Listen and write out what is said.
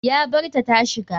Ya barta tashiga.